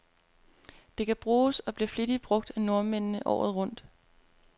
Det kan bruges, og bliver flittigt brug af nordmændene, året rundt.